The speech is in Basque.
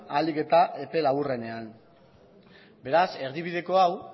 ahalik eta epe laburrenean beraz erdibideko hau